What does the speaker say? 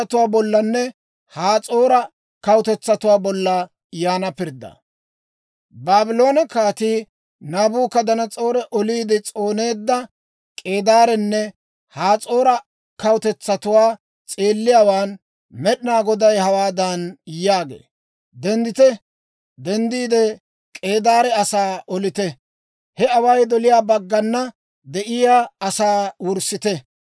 Baabloone Kaatii Naabukadanas'oori oliide s'ooneedda K'eedaarenne Has'oora kawutetsatuwaa s'eelliyaawaan Med'inaa Goday hawaadan yaagee; «Denddite; K'eedaare asaa olite! He away doliyaa baggana de'iyaa asaa wurssite!